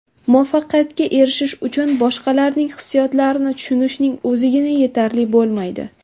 Muvaffaqiyatga erishish uchun boshqalarning hissiyotlarini tushunishning o‘zigina yetarli bo‘lmaydi.